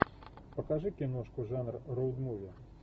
покажи киношку жанра роуд муви